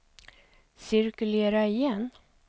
cirkulera igen